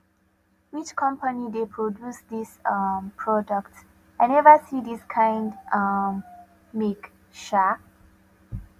which company dey produce this um product i never see this kind um make um